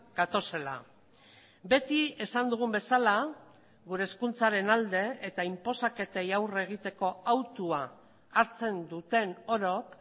gatozela beti esan dugun bezala gure hezkuntzaren alde eta inposaketei aurre egiteko autua hartzen duten orok